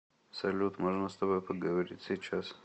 салют можно с тобой поговорить сейчас